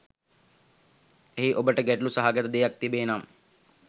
එහි ඔබට ගැටළු සහගත දෙයක් තිබේ නම්